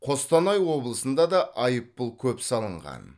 қостанай облысында да айыппұл көп салынған